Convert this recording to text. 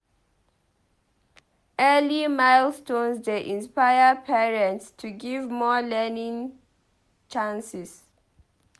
Early milestones dey inspire parents to give more learning chances.